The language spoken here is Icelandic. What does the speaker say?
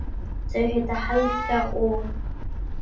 Þau heita Helga og